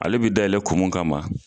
Ale bɛ dayɛlɛ kun min kama.